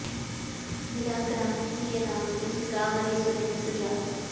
गिरा ग्राम्य सिय राम जस गावहिं सुनहिं सुजान